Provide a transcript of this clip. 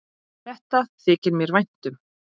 Þetta þykir mér vænt um.